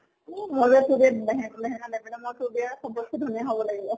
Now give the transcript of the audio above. এহ নহয় দে তোৰ বিয়াত লেহেং লেহেঙ্গা নিপিন্ধু, মই তোৰ বিয়াত চবত্কে ধুনীয়া হʼব লাগিব।